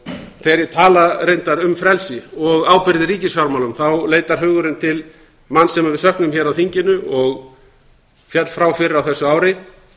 þegar ég tala reyndar um frelsi og ábyrgð í ríkisfjármálum þá leitar hugurinn til manns sem við söknum hér af þinginu og féll frá fyrr á þessu ári